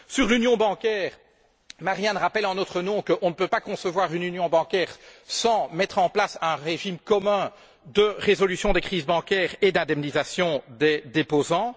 Concernant l'union bancaire, Marianne Thyssen, rappelle en notre nom que nous ne pouvons pas concevoir une union bancaire sans mettre en place un régime commun de résolution des crises bancaires et d'indemnisation des déposants.